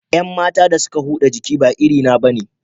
Yan matan da suka huda jiki ba iri na bane